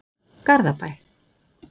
Garðabæ